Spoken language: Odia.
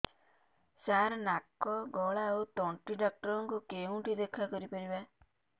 ସାର ନାକ ଗଳା ଓ ତଣ୍ଟି ଡକ୍ଟର ଙ୍କୁ କେଉଁଠି ଦେଖା କରିପାରିବା